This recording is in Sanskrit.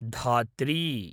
धात्री